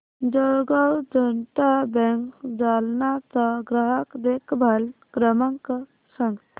जळगाव जनता बँक जालना चा ग्राहक देखभाल क्रमांक सांग